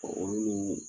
Olu ni